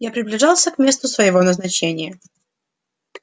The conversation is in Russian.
я приближался к месту своего назначения